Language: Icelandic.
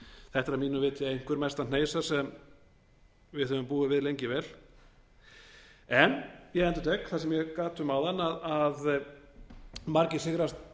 þetta er að mínu viti einhver mesta hneisa sem við höfum búið við lengi vel en ég endurtek það sem ég gat um áðan að margir